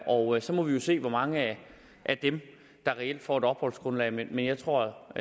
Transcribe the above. og så må vi jo se hvor mange af dem der reelt får et opholdsgrundlag men jeg tror